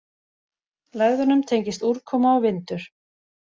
Lægðunum tengist úrkoma og vindur.